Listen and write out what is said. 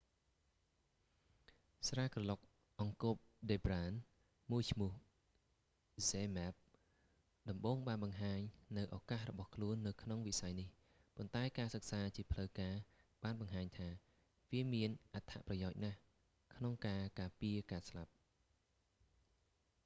ស្រាក្រឡុកអង្គបដិប្រាណមួយឈ្មោះ zmapp ដំបូងបានបង្ហាញនូវឳកាសរបស់ខ្លួននៅក្នុងវិស័យនេះ ប៉ុន្តែការសិក្សាជាផ្លូវការបានបង្ហាញថា វាមានអត្ថប្រយោជន៍ណាស់ក្នុងការការពារការស្លាប់